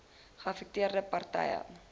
geaffekteerde par tye